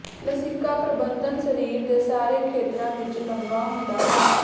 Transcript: ਲਸਿਕਾ ਪ੍ਰਬੰਧਨ ਸਰੀਰ ਦੇ ਸਾਰੇ ਖੇਤਰਾਂ ਵਿੱਚ ਲੰਬਾ ਹੁੰਦਾ ਹੈ